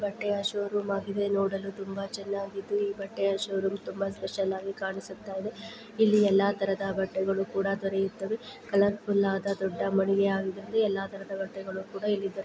ಬಟ್ಟೆ showroom ಆಗಿದೆ ನೋಡಲು ತುಂಬಾ ಚನ್ನಾಗಿದ್ದು ಈ ಬಟ್ಟೆಯ ಶೋ ರೂಮ್ ತುಂಬಾ ಸ್ಪೆಷಲ್ ಆಗಿ ಕಾಣಿಸುತ್ತಾ ಇದೆ ಇಲ್ಲಿ ಎಲ್ಲಾ ತರದ ಬಟ್ಟೆಗಳು ಕೂಡ ದೊರೆಯುತ್ತವೆ ಕಲರ್ ಫುಲ್ ಆದ ದೊಡ್ಡ ಮಳಿಗೆ ಆಗಿದ್ದುರಿಂದ ಎಲ್ಲಾ ತರದ ಬಟ್ಟೆಗಳು ಕೂಡ ಇಲ್ಲಿ ದೊರೆಯುತ್ತವೆ.